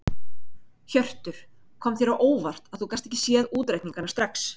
Hjörtur: Kom þér á óvart að þú gast ekki séð útreikningana strax?